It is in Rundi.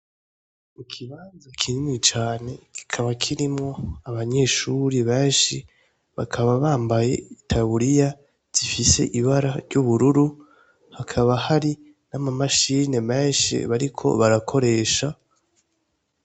Mu kibanza kinini cane kikaba kirimwo abanyeshuri benshi bakaba bambaye itaburiya zifise ibara ry'ubururu hakaba hari nama mashine menshi bariko barakoresha.